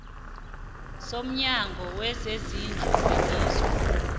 somnyango wezezindlu welizwe